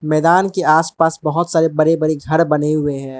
मैदान के आसपास बहोत बड़े बड़े घर बने हुए हैं।